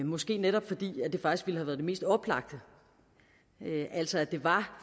måske netop fordi det faktisk ville have været det mest oplagte altså at det var